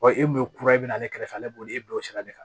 Wa e kun ye kura ye ne kɛrɛfɛ ale b'o de bila o sira de kan